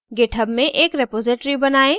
github में एक repository बनाएं